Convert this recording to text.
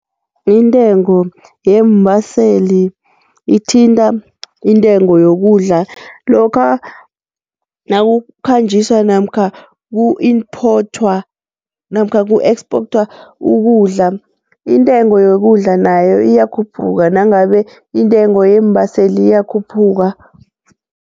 Intengo yeembaseli ithinta intengo yokudla lokha nakukhanjiswa namkha ku-imphothwa namkha ku-exporter ukudla intengo yokudla nayo iyakhuphuka nangabe intengo yeembaseli iyakhuphuka.